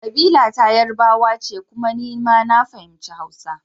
Kabila ta Yarbawa ce kuma ni ma na fahimci Hausa.